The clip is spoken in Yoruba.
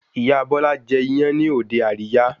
Ìyá Bọ́lá jẹ́ iyán ní òde àríyá